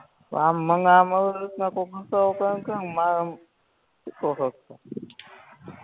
પણ આમ મને આમ અવી રીતના